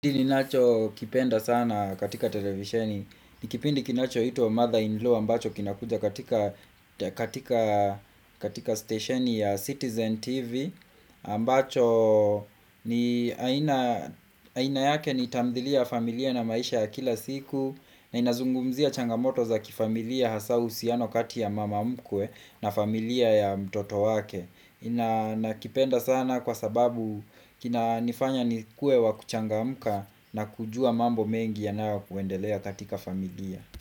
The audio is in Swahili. Kili nacho kipenda sana katika televisheni Nikipindi kinachoitwa Mother in Law ambacho kinakuja katika katika stationi ya Citizen TV ambacho ni aina yake ni tamdhilia familia na maisha ya kila siku na inazungumzia changamoto za kifamilia hasaa uhusiano kati ya mamamkwe na familia ya mtoto wake nakipenda sana kwa sababu kinanifanya ni kuwe wakuchangamka na kujua mambo mengi yanayo kuendelea katika familia.